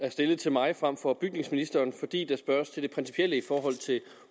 er stillet til mig frem for bygningsministeren fordi der spørges til det principielle i forhold til